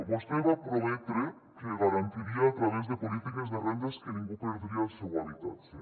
vostè va prometre que garantiria a través de polítiques de rendes que ningú perdria el seu habitatge